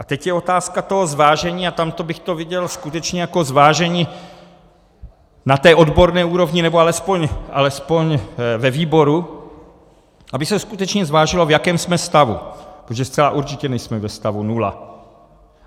A teď je otázka toho zvážení, a tam bych to viděl skutečně jako zvážení na té odborné úrovni, nebo alespoň ve výboru, aby se skutečně zvážilo, v jakém jsme stavu, protože zcela určitě nejsme ve stavu nula.